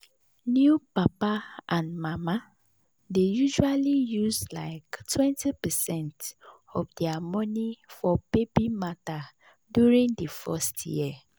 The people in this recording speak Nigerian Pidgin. new papa and mama dey usually use like 20 percent of their money for baby matter during the first year.